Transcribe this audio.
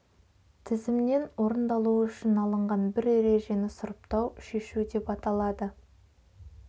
тізімнен орындалуы үшін алынған бір ережені сұрыптау шешу деп аталады